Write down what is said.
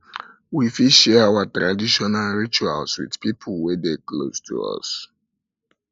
we fit share our tradition and rituals with pipo wey dey close to us